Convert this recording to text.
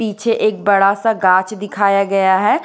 पीछे एक बड़ा सा गाच दिखाया गया है।